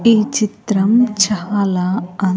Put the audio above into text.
ఈ చిత్రం చాలా అ--